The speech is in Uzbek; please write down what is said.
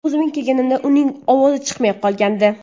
O‘zimga kelganimda uning ovozi chiqmay qolgandi.